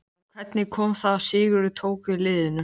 En hvernig kom það til að Sigurður tók við liðinu?